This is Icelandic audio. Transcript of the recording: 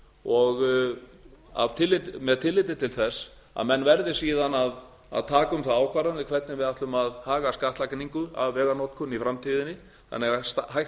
og með tilliti til þess að menn verði síðan að taka um það ákvarðanir hvernig við ætlum að haga skattlagningu af veganotkun í framtíðinni þannig að hægt